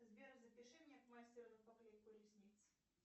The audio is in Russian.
сбер запиши меня к мастеру на поклейку ресниц